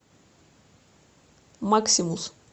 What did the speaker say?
максимус